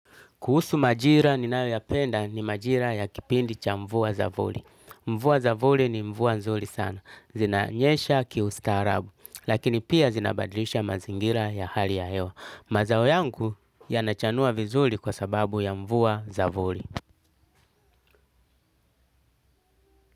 Kuhusu majira ninayoyapenda ni majira ya kipindi cha mvua za voli. Mvua za voli ni mvua nzuri sana. Zinanyesha kiustaarabu. Lakini pia zinabadilisha mazingira ya hali ya hewa. Mazao yangu yanachanua vizuri kwa sababu ya mvua za voli.